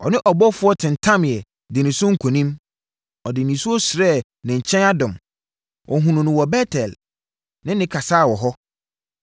Ɔne ɔbɔfoɔ tentameeɛ dii ne so nkonim; ɔde nisuo srɛɛ ne nkyɛn adom. Ɔhunuu no wɔ Bet-El ne no kasaa wɔ hɔ.